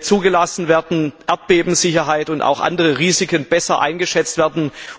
zugelassen werden, Erdbebensicherheit und andere Risiken besser eingeschätzt werden.